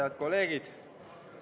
Head kolleegid!